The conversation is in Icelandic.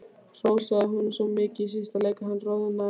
Hrósaði honum svo mikið í síðasta leik að hann roðnaði.